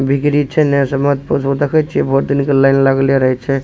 बिक्री छै एने से मत पुछु देखे छीये बहुत दिन के लाइन लगले रहे छै ।